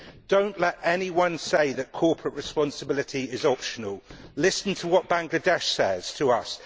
do not let anyone say that corporate responsibility is optional. Listen to what Bangladesh says to us.